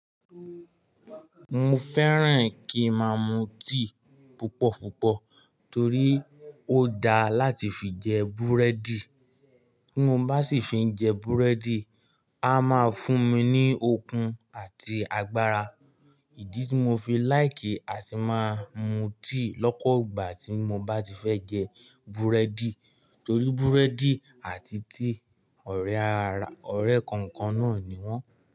Mo fẹ́ràn kí máa mu tíì púpọ̀púpọ̀ torí ó dáa láti fi jẹ búrẹ́dì. Tí mo bá sì fi jẹ búrẹ́dì, a máa fún mi ní okun àti agbára, ìdí tí mo fi láìkì a sì máa mu tea lọ́pọgbà tí mo bá ti fẹ́ jẹ búrẹ́dì torí búrẹ́dì àti tíì ọ̀rẹ́ kankan náà ni wọ́n.